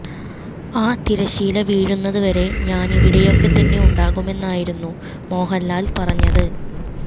ആ തിരശ്ശീല വീഴുന്നത് വരെ ഞാന് ഇവിടെയൊക്കെ തന്നെ ഉണ്ടാകുമെന്നുമായിരുന്നു മോഹന്ലാല് പറഞ്ഞത്